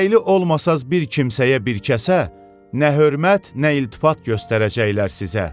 Gərəkli olmasaz bir kimsəyə bir kəsə nə hörmət, nə iltifat göstərəcəklər sizə.